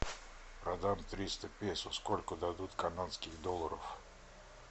продам триста песо сколько дадут канадских долларов